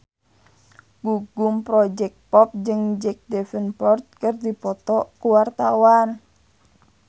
Gugum Project Pop jeung Jack Davenport keur dipoto ku wartawan